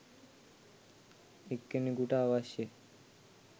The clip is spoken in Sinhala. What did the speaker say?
එක්කෙනෙකුට අවශ්‍ය